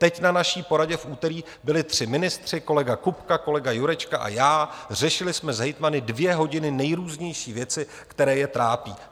Teď na naší poradě v úterý byli tři ministři, kolega Kupka, kolega Jurečka a já, řešili jsme s hejtmany dvě hodiny nejrůznější věcí, které je trápí.